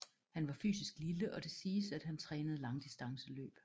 Han var fysisk lille og det siges at han trænede langdistanceløb